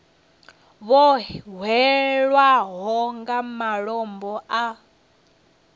vho hwelwaho nga malombo a